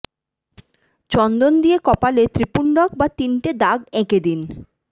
চন্দন দিয়ে কপালে ত্রিপুণ্ডক বা তিনটে দাগ এঁকে দিন